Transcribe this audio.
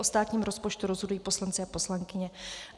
O státním rozpočtu rozhodují poslanci a poslankyně.